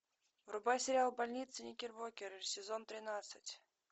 врубай сериал больница никербокер сезон тринадцать